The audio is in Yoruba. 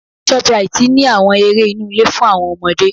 Shoprite ní àwọn eré inú ilé fún àwọn ọmọdé.